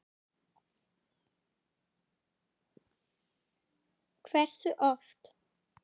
Hversu oft?